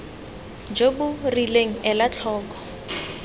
jo bo rileng ela tlhoko